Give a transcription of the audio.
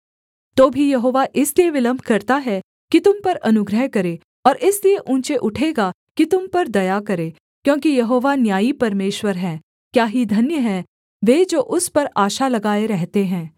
तो भी यहोवा इसलिए विलम्ब करता है कि तुम पर अनुग्रह करे और इसलिए ऊँचे उठेगा कि तुम पर दया करे क्योंकि यहोवा न्यायी परमेश्वर है क्या ही धन्य हैं वे जो उस पर आशा लगाए रहते हैं